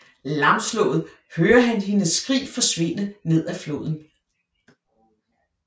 Lamslået hører han hendes skrig forsvinde nedad floden